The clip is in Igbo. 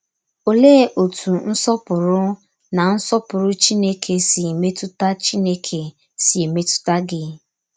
Òlee òtú Nsọ̀pùrù na Nsọ̀pùrù Chìnékè sī mètùtà Chìnékè sī mètùtà gí?